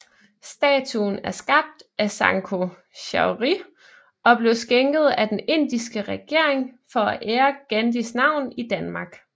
Statuen er skabt af Sankho Chaudhri og blev skænket af den indiske regering for at ære Gandhis navn i Danmark